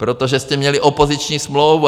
Protože jste měli opoziční smlouvu!